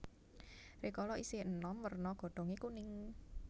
Rikala isih enom werna godhonge kuning